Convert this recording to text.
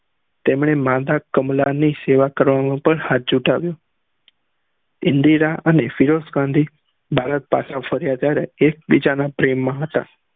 તેમને માધા કમલા ની સેવા કરવાનું પણ હાથ જુતાવ્યું ઇન્દિરા અને ફિરોજ ખાન થી ભારત પાછા ફર્યા ત્યારે એક બીજા ના પ્રેમ માં હતા